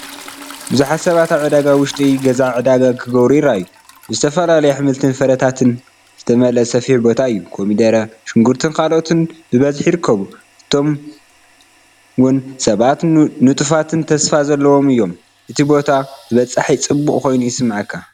ብዙሓት ሰባት ኣብ ዕዳጋ ውሽጢ ገዛ ዕዳጋ ክገብሩ ይረኣዩ። ብዝተፈላለዩ ኣሕምልትን ፍረታትን ዝተመልአ ሰፊሕ ቦታ እዩ፣ ኮሚደረ፣ ሽጉርትን ካልኦትን ብብዝሒ ይርከቡ። እቶምውን ሰባት ንጡፋትን ተስፋ ዘለዎምን እዮም፣ እቲ ቦታ ተበጻሒን ጽዑቕን ኮይኑ ይስምዓካ።